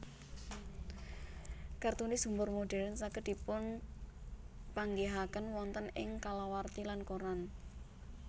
Kartunis humor modern saged dipunpanggihaken wonten ing kalawarti lan koran